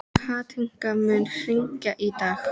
Kathinka, mun rigna í dag?